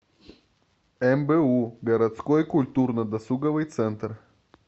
мбу городской культурно досуговый центр